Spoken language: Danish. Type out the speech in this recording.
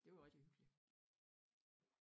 Det var rigtig hyggeligt